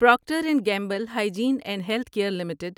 Procter and Gamble Hygiene and Health Care limited